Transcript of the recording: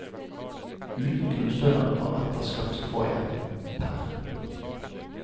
Uten grunnstønaden og etter skatt får jeg pr.